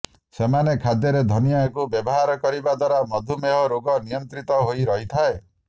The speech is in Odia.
ସେମାନେ ଖାଦ୍ୟରେ ଧନିଆକୁ ବ୍ୟବହାର କରିବା ଦ୍ବାରା ମଧୁମେହ ରୋଗ ନିୟନ୍ତ୍ରିତ ହୋଇ ରହିଥାଏ